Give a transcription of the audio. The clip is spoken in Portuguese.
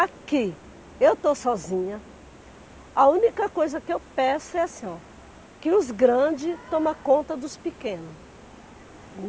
Aqui, eu estou sozinha, a única coisa que eu peço é assim, ó, que os grandes tomem conta dos pequenos.